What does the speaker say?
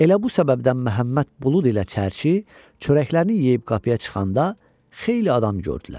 Elə bu səbəbdən Məhəmməd Bulud ilə çərçi çörəklərini yeyib qapıya çıxanda xeyli adam gördülər.